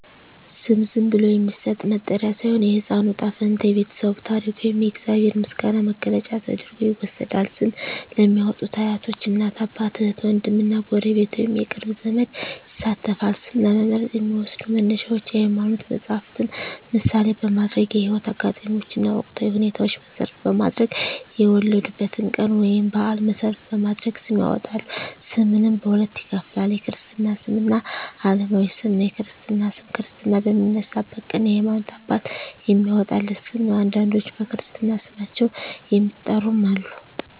ስም ዝም ብሎ የሚሰጥ መጠሪያ ሳይሆን፣ የሕፃኑ ዕጣ ፈንታ፣ የቤተሰቡ ታሪክ ወይም የእግዚአብሔር ምስጋና መግለጫ ተደርጎ ይወሰዳል። ስም ለሚያዎጡት አያቶች፣ እናት አባት፣ እህት ዎንድም እና ጎረቤት ወይንም የቅርብ ዘመድ ይሳተፋል። ስም ለመምረጥ የሚዎሰዱ መነሻዎች የሀይማኖት መፀሀፍትን ምሳሌ በማድረግ፣ የህይወት አጋጣሚዎችን እና ወቅታዊ ሁኔታዎችን መሰረት በማድረግ፣ የወለዱበትን ቀን ወይንም በአል መሰረት በማድረግ ስም ያወጣሉ። ስምንም በሁለት ይከፈላል። የክርስትና ስም እና አለማዊ ስም ነው። የክርስትና ስም ክርስትና በሚነሳበት ቀን የሀይማኖት አባት የሚያዎጣለት ስም ነው። አንዳንዶች በክርስትና ስማቸው የሚጠሩም አሉ።